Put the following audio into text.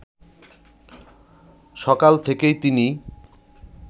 সকাল থেকেই তিনি